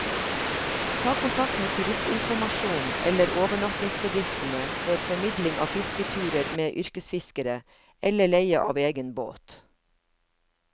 Ta kontakt med turistinformasjonen eller overnattingsbedriftene for formidling av fisketurer med yrkesfiskere, eller leie av egen båt.